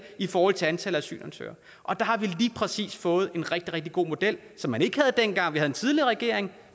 i forhold til antallet af asylansøgere og der har vi lige præcis fået en rigtig rigtig god model som man ikke havde dengang vi havde den tidligere regering